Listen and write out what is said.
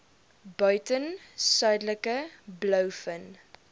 buiten suidelike blouvin